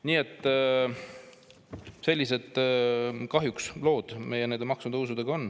Kahjuks on meil sellised lood nende maksutõusudega.